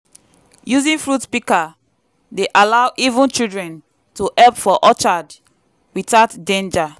using fruit pika dey allow even children to hep for orchard without danger.